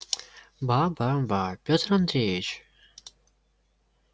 ба ба ба пётр андреич